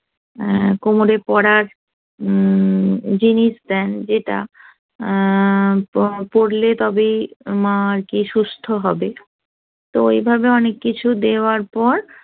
অ্যা কোমরে পড়ার হম জিনিস দেন যেটা অ্যা পড়লে তবে মা কি সুস্থ হবে তো এভাবে অনেক কিছু দেওয়ার পর